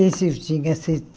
Esse eu tinha